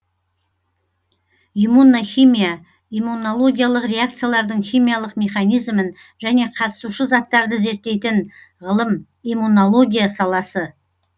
иммунохимия иммунологиялық реакциялардың химиялық механизмін және қатысушы заттарды зерттейтін ғылым иммунология саласы